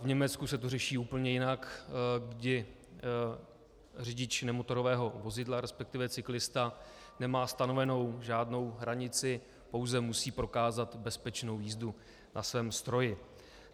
V Německu se to řeší úplně jinak, kdy řidič nemotorového vozidla, respektive cyklista, nemá stanovenou žádnou hranici, pouze musí prokázat bezpečnou jízdu na svém stroji.